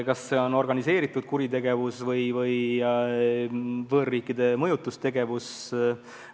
Kas see on organiseeritud kuritegevus või võõraste riikide mõjutustegevus?